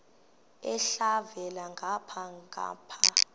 elhavela ngapha nangapha